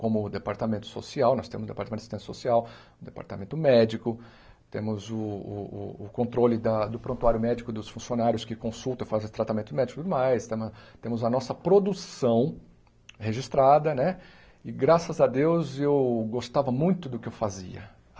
como o departamento social, nós temos o departamento de assistência social, o departamento médico, temos o o o o controle da do prontuário médico dos funcionários que consultam e fazem tratamento médico e tudo mais, temo temos a nossa produção registrada né e graças a Deus eu gostava muito do que eu fazia.